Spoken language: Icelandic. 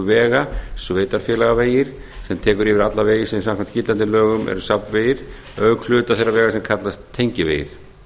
vega sveitarfélagavegir sem tekur yfir alla vegi sem samkvæmt gildandi lögum eru safnvegir auk hluta þeirra vega sem kallast tengivegir